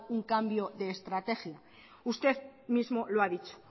un cambio de estrategia usted mismo lo ha dicho